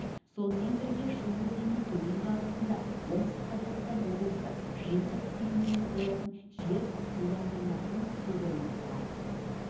сонымен бірге шу өзенінің төменгі ағысында оңтүстік қазақстан облысы жиынтық сыйымдылығы болатын жер суландырылатын су қоймасы бар